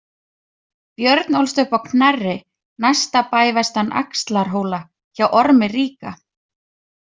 Björn ólst upp á Knerri, næsta bæ vestan Axlarhóla, hjá Ormi ríka.